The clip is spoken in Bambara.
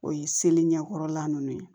O ye seli ɲɛkɔrɔla nunnu ye